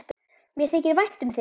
Mér þykir vænt um þig!